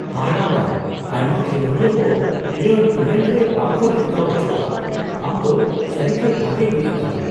ᱦᱟᱦᱟᱲᱟᱣᱟᱱ ! ᱟᱭᱢᱟ ᱠᱷᱮᱞᱳᱰᱤᱭᱟᱹ ᱠᱚ ᱱᱤᱭᱟᱹ ᱤᱵᱷᱮᱱᱴ ᱨᱮ ᱵᱟᱝ ᱠᱚ ᱱᱮᱣᱛᱟ ᱚᱪᱚᱜᱼᱟ ᱾ ᱟᱢ ᱫᱚ ᱥᱟᱹᱨᱤᱜᱮ ᱵᱷᱟᱜᱮ ᱦᱩᱭᱩᱜ ᱛᱟᱢᱟ !